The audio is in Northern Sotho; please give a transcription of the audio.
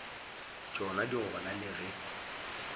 tšona di gona le ge